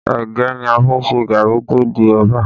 Ẹ̀gẹ́ ni a fi n se gari tó di ẹ̀bà